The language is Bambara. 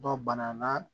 Dɔ bana na